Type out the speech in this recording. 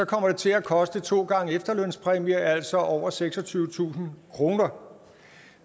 kommer det til at koste to gange efterlønspræmie altså over seksogtyvetusind kroner